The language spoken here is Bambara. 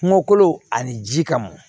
Kungo kolon ani ji ka mɔn